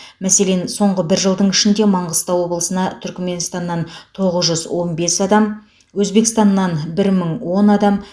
мәселен соңғы бір жылдың ішінде маңғыстау облысына түрікменстаннан тоғыз жүз он бес адам өзбекстаннан бір мың он адам